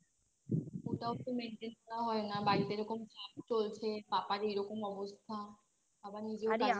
ওটাও তো Maintain করা হয় না বাড়িতে যেরকম চাপ চলছে পাপার এইরকম অবস্থা আবার নিজেও কাজ